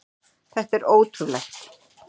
Þetta er ótrúlegt!